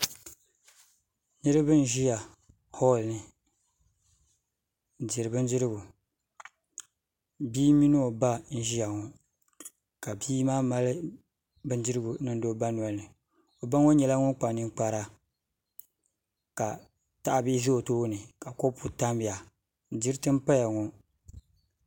Niribɛ n ziya hoolini n diri bin dirigu bii min ɔ ba n ziyaŋɔ ka biimaa mali bindirigu n niŋdi ɔ ba nolini o baŋɔ nyɛla ŋun kpa niŋkpara ka tahibihi ʒɛ o tooni ka kopu tamya diriti n paya ŋɔ.